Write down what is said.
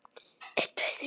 Tíminn getur skipt sköpum.